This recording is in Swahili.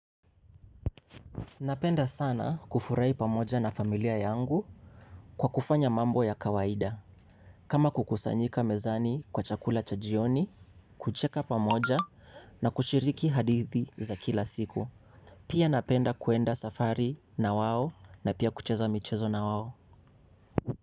Napenda sana kufurahi pamoja na familia yangu kwa kufanya mambo ya kawaida. Kama kukusanyika mezani kwa chakula cha jioni, kucheka pamoja na kushiriki hadithi za kila siku. Pia napenda kuenda safari na wao na pia kucheza michezo na wao.